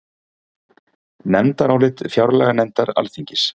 Nefndarálit fjárlaganefndar Alþingis